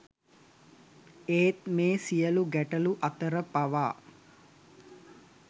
ඒත් මේ සියලු ගැටලු අතර පවා